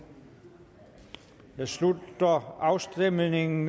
jeg slutter afstemningen